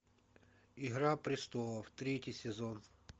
игра престолов третий сезон